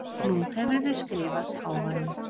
Nú hefurðu skrifað páfanum.